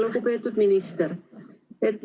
Lugupeetud minister!